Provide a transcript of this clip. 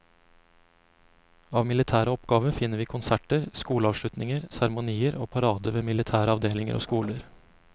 Av militære oppgaver finner vi konserter, skoleavslutninger, seremonier og parader ved militære avdelinger og skoler.